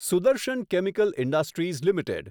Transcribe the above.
Sudarshan chemical industries limited